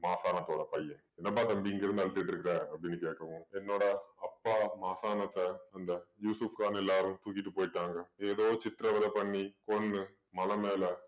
மாகாணத்தோட பையன் என்னப்பா தம்பி இங்கே இருந்து அழுத்திட்டு இருக்க அப்படின்னு கேட்கவும் என்னடா அப்பா மாசானத்த அந்த யூசுப்கான் எல்லாரும் தூக்கிட்டு போயிட்டாங்க ஏதோ சித்திரவதை பண்ணி கொன்னு மலை மேல